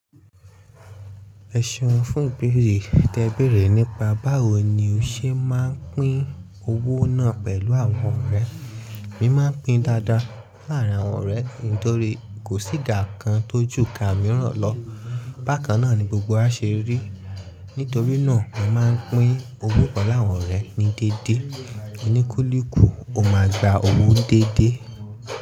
Ẹ ṣeun fún ìbéèrè yìí Tẹ́ẹ béèrè nípa báwo ni o ṣe máa ń pín owó náà pẹ̀lú àwọn ọ̀rẹ́. Mi máa ń pín dáadáa láàárín àwọn ọ̀rẹ́ mi nítorí kò síka kan tó juka mìíràn lọ. Bákan náà ni gbogbo wa ṣe rí. Nítorí náà mi màá ń pín owó pẹ̀lú àwọn ọ̀rẹ́ ní déédéé. Oníkúlùkù ò máa gba owó déédéé.